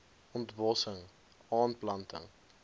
ont bossing aanplanting